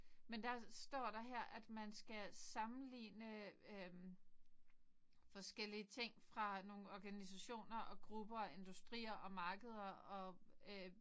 Men der står der her at man skal sammenligne øh forskellige ting fra nogen organisationer og grupper industrier og markeder og øh